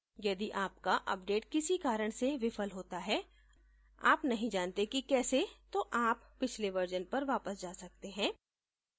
यदि आपका अपडेट किसी कारण से विफल होता है आप नहीं जानते कि case तो आप पिछले version पर वापस जा सकते हैं